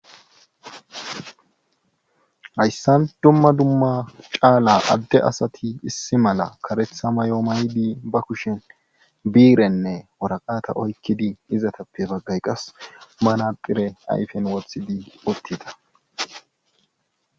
hayssan dumma dumma caala adde asati issi mala karetha mayoo maydi ba kushen biirenne woraqata oykkidi izatappe baggay qas manacire ayfen wothidi uttida